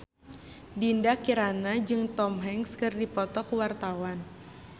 Dinda Kirana jeung Tom Hanks keur dipoto ku wartawan